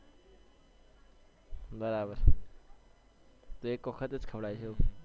બરાબર તો એક વખતજ ખવડાવીશ એવું